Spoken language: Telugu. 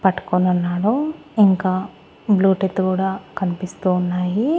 పట్టుకోనున్నాడు ఇంకా బ్లూటూత్ కూడా కనిపిస్తూ ఉన్నాయి.